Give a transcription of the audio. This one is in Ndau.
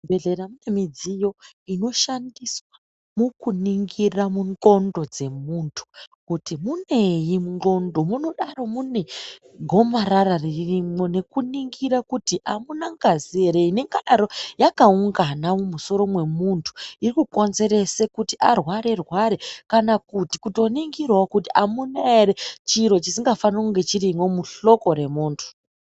Muzvibhedhlera munemidziyo inoshandiswa mukuningira mu ndxondo dzemuntu kuti munei mundxondo. Munodaro munegomarara ririmwo nekuningira kuti amuna ngazi ere ingadaro yakaungana mumusoro mwemuntu irikukonzerese kuti arware rware kana kuti kutoningirawo kuti amuna ere chiri chisingafani kunge chirimo muhloko remuntu.